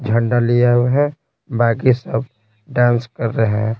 झंडा लिया हुए हैं बाकी सब डांस कर रहे हैं।